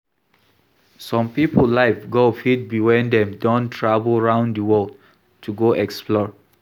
Some pipo life goal fit be when dem don travel round di world to go explore